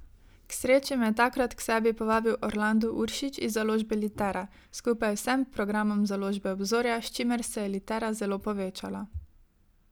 K sreči me je takrat k sebi povabil Orlando Uršič iz založbe Litera, skupaj z vsem programom Založbe Obzorja, s čimer se je Litera zelo povečala.